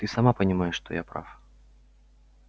ты сама понимаешь что я прав